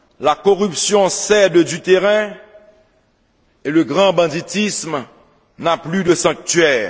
la corruption cède du terrain et le grand banditisme n'a plus de sanctuaire.